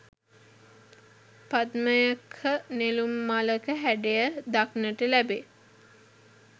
පද්මයක නෙළුම් මලක හැඩය දක්නට ලැබේ.